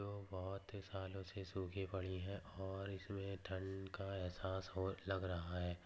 जो बहुत ही सालो से सुखी पड़ी है और इसमे ठंड का एहसास हो लग रहा है।